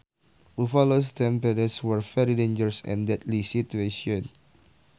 Buffalo stampedes were very dangerous and deadly situations